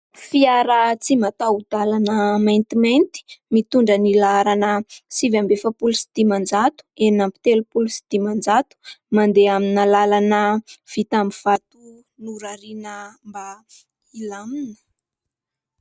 Fiara tsy mataho-dalana maintimainty, mitondra ny laharana sivy amby efapolo sy dimanjato, enina amby telopolo sy dimanjato, mandeha amina lalana vita amin'ny vato norariana mba hilamina.